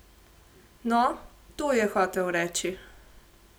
No, to je hotel reči.